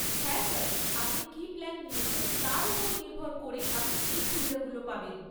হ্যাঁ স্যার, আপনি কী প্ল্যান নিয়েছেন, তার ওপর নির্ভর করে আপনি এই সুবিধাগুলো পাবেন।